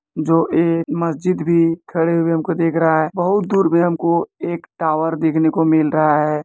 जो एक मस्जिद भी खड़े हुए हमको देख रहा है बहुत दूर पे हमको एक टावर देखने को मिल रहा है।